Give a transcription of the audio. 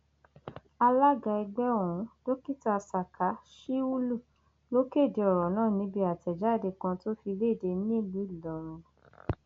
alága ẹgbẹ ọhún dókítà saka shiulu ló kéde ọrọ náà níbi àtẹjáde kan tó fi léde nílùú ìlọrin